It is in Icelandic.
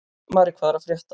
Mari, hvað er að frétta?